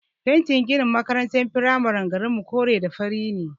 Fentin ginin makarantar firamaren garinmu kore da fari ne.